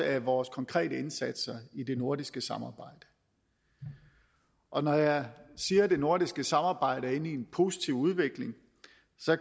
af vores konkrete indsatser i det nordiske samarbejde og når jeg siger at det nordiske samarbejde er inde i en positiv udvikling